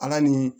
Ala ni